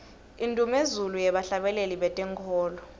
indnumezulu yebahlabeleli bentenkholo